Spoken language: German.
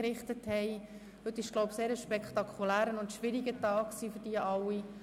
Heute war ein spektakulärer und schwieriger Tag für sie alle.